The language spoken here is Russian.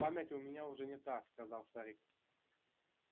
память у меня уже не та сказал старик